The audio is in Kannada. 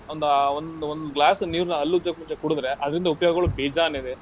ಒಂದಾ ಒಂದು ಒಂದ್ glass ನೀರನ್ನ ಹಲ್ಲುಜ್ಜಕ್ ಮುಂಚೆ ಕುಡ್ದ್ರೆ, ಅದ್ರಿಂದ ಉಪಯೋಗಗಳು ಬೇಜಾನ್ ಇದೆ.